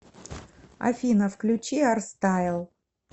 афина включи арстайл